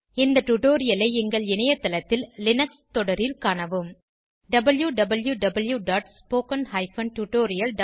இந்த டுடோரியலை எங்கள் இணையத்தளத்தில் லினக்ஸ் தொடரில் காணவும் wwwspoken tutorialorg